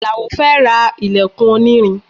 Alao fẹ́ ra ilẹkun onírin